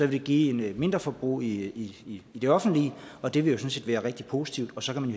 vil det give et mindreforbrug i det offentlige og det vil jo sådan set være rigtig positivt så kan man